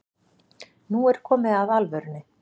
Nú er komið að alvörunni